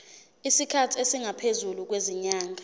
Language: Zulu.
isikhathi esingaphezulu kwezinyanga